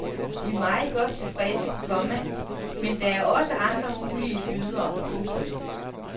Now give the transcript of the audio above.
Vi er meget godt tilfredse, komma men der er også andre mulige bydere. punktum